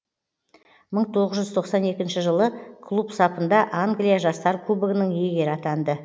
мың тоғыз жүз тоқсан екінші жылы клуб сапында англия жастар кубогының иегері атанды